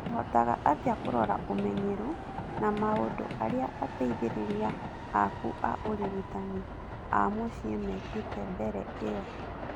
ũhotaga atĩa kũrora ũmenyeru na maũndu arĩa ateithĩrĩria aku a ũrigitani a mũciĩ mekĩte mbere ĩyo ?